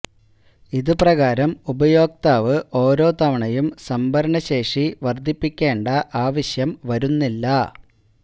ഇതു പ്രകാരം ഉപയോക്താവ് ഓരോ തവണയും സംഭരണശേഷി വർദ്ധിപ്പിക്കേണ്ട ആവശ്യം വരുന്നില്ല